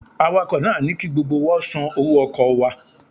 Awakọ̀ náà ní ki gbogbo wa ó san owó ọkọ̀ wa